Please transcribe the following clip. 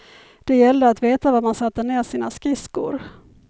Det gällde att veta var man satte ner sina skridskor.